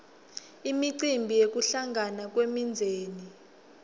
imicimbi yekuhlangana kwemindzeni